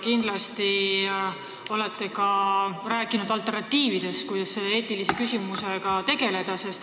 Kindlasti olete te rääkinud ka alternatiividest, kuidas selle eetilise küsimusega tegeleda.